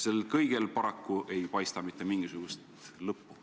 Sellel kõigel ei paista paraku mitte mingisugust lõppu.